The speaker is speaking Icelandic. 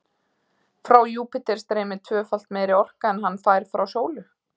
frá júpíter streymir tvöfalt meiri orka en hann fær frá sólu